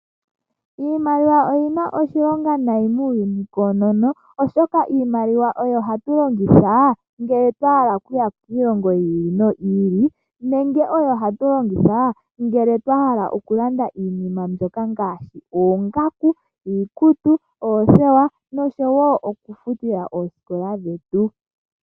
Iimaliwa oyina oshilonga nai muuyuni koonono, oshoka iimaliwa oyo hatu longitha ngele twa hala okuya kiilongo yi ili noyi ili, nenge oyo hatu longitha ngele twa hala okulanda iinima mbyoka ngaashi: oongaku, iikutu, oothewa nosho wo okufutila ooskola dhetu.